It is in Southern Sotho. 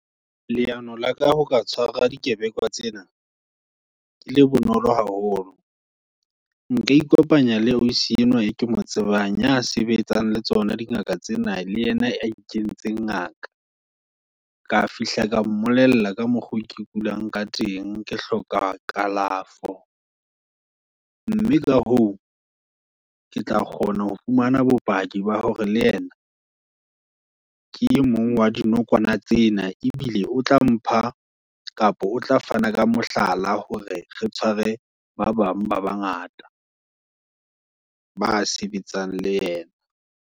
Leano la ka ho ka tshwara di kebekwa tsena, ke le bonolo haholo. Nka ikopanya le ausi enwa, eo ke mo tsebang, ya sebetsang le tsona dingaka tsena, le yena, ya ikentseng ngaka. Ka fihla ka mmolella ka mokgwa ke kulang, ka teng, ke hloka kalafo. Mme ka hoo, ke tla kgona ho fumana bopaki ba hore, le yena, ke emong wa dinokwane tsena, ebile o tla mpha, kapa o tla fana ka mohlala, hore re tshware, ba bang ba bangata, ba sebetsang le yena.